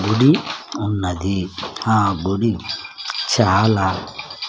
గుడి ఉన్నది ఆ గుడి చాలా--